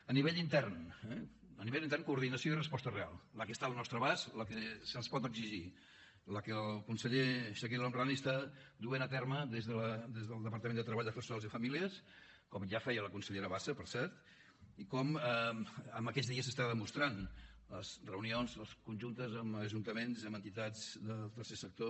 a nivell intern eh a nivell intern coordinació i resposta real la que està al nostre abast la que se’ns pot exigir la que el conseller chakir el homrani està duent a terme des del departament de treball afers socials i famílies com ja feia la consellera bassa per cert i com en aquests dies s’està demostrant les reunions conjuntes amb ajuntaments amb entitats del tercer sector